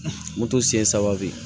Moto senɲɛ saba bɛ yen